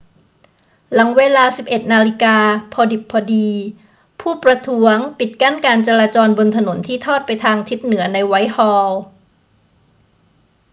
หลังเวลา 11.00 น พอดิบพอดี ผู้ประท้วงปิดกั้นการจราจรบนถนนที่ทอดไปทางทิศเหนือในไวท์ฮอลล์